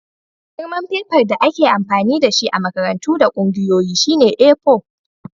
Girman fefar da ake amfani da shi a makarantu da ƙungiyoyi shine A4.